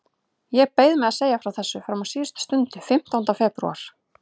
Ég beið með að segja frá þessu fram á síðustu stund, fimmtánda febrúar.